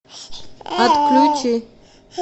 отключи